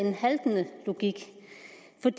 det